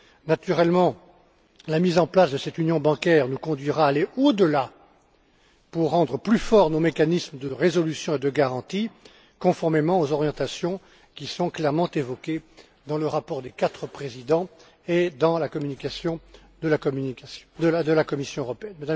Naturellement, la mise en place de cette union bancaire nous conduira à aller au delà pour rendre plus forts nos mécanismes de résolution et de garantie, conformément aux orientations qui sont clairement évoquées dans le rapport des quatre présidents et dans la communication de la Commission européenne.